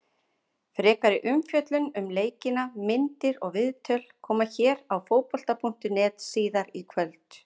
Frekari umfjöllun um leikina, myndir og viðtöl, koma hér á Fótbolta.net síðar í kvöld.